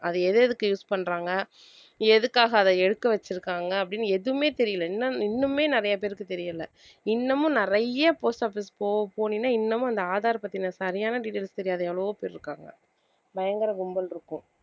அது எது எதுக்கு use பண்றாங்க எதுக்காக அதை எடுக்க வச்சிருக்காங்க அப்படின்னு எதுவுமே தெரியலே இன்னும் இன்னுமே நிறைய பேருக்கு தெரியலே இன்னமும் நிறைய post office போ~ போனின்னா இன்னமும் அந்த aadhar பத்தின சரியான details தெரியாத எவ்வளவோ பேர் இருக்காங்க பயங்கர கும்பல் இருக்கும்